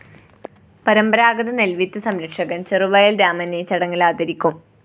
പരമ്പരാതഗത നെല്‍വിത്ത് സംരക്ഷകന്‍ ചെറുവയല്‍ രാമനെ ചടങ്ങില്‍ ആദരിക്കും